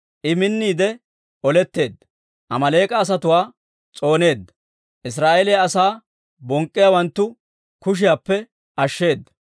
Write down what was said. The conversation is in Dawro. I minniide oletteedda; Amaaleek'a asatuwaa s'ooneedda; Israa'eeliyaa asaa bonk'k'iyaawanttu kushiyaappe ashsheeda.